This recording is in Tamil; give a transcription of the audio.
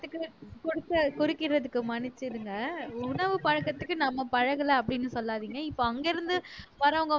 கொடுத்த குறுக்கிடறதுக்கு மன்னிச்சிடுங்க உணவு பழக்கத்துக்கு நம்ம பழகல அப்படின்னு சொல்லாதீங்க இப்ப அங்கிருந்து வர்றவங்க வந்து